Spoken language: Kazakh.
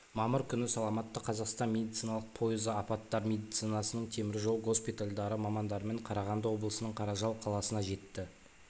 мамыр күні саламатты қазақстан медициналық пойызы апаттар медицинасының теміржол госпитальдары мамандарымен қарағанды облысының қаражал қаласына жетті